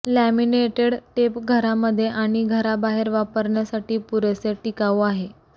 laminated tape घरामध्ये आणि घराबाहेर वापरण्यासाठी पुरेसे टिकाऊ आहे